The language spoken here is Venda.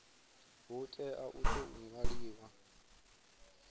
hu tea u tou ṅwaliwa